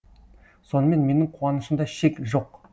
сонымен менің қуанышымда шек жоқ